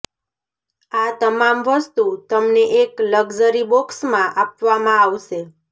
આ તમામ વસ્તુ તમને એક લક્ઝરી બોક્સમાં આપવામાં આવશે